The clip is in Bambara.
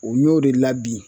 O y'o de la bin